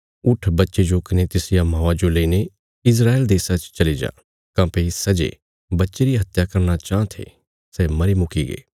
उट्ठ बच्चे जो कने तिसरिया मौआ जो लेईने इस्राएल देशा च चली जा काँह्भई सै जे बच्चे री हत्या करना चाँह थे सै मरी मुकीगे